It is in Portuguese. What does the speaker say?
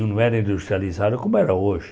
Não era industrializado como era hoje.